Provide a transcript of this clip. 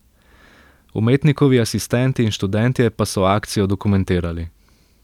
Umetnikovi asistenti in študentje pa so akcijo dokumentirali.